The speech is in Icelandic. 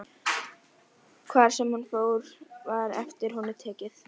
Hvar sem hann fór var eftir honum tekið.